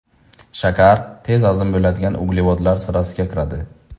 Shakar tez hazm bo‘ladigan uglevodlar sirasiga kiradi.